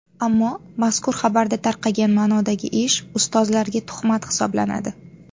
Ammo mazkur xabarda tarqagan ma’nodagi ish ustozlarga tuhmat hisoblanadi.